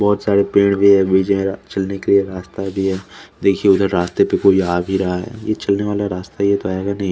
बोहोत सरे पेड़ भी है बिछारा चलने के लिए रास्ता भी है देखिये इधर रस्ते पे कोई आ गया है ये चलने वाला रास्ता ही तो है कोई आएगा नहीं --